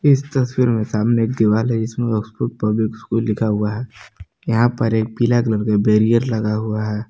इस तस्वीर में सामने एक दीवार है जीसपे ऑक्सफोर्ड पब्लिक स्कूल लिखा हुआ है यहां पर एक पीला कलर का बैरियर लगा हुआ है।